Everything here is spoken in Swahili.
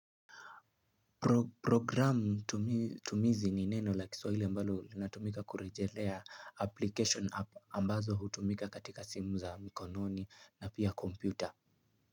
Programu tumizi ni neno la kiswahili ambalo linatumika kurejelea application ambazo hutumika katika simu za mkononi na pia kompyuter.